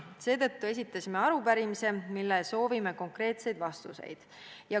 Seetõttu esitasime arupärimise, millele soovime konkreetseid vastuseid.